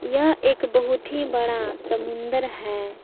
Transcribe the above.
यह एक बहुत ही बड़ा समुंदर है।